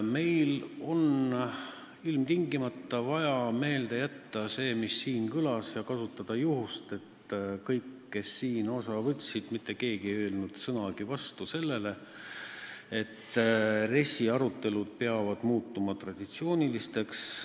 Meil on ilmtingimata vaja meelde jätta see, mis siin kõlas, ja kasutada juhust, et mitte keegi, kes arutelust osa võttis, ei öelnud sõnagi vastu sellele, et RES-i arutelud peavad muutuma traditsiooniliseks.